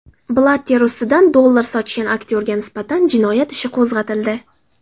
Blatter ustidan dollar sochgan aktyorga nisbatan jinoyat ishi qo‘zg‘atildi.